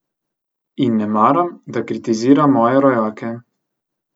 In ne maram, da kritizira moje rojake.